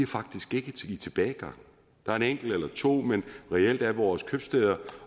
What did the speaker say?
faktisk ikke i tilbagegang der er en enkelt eller to men reelt er vores købstæder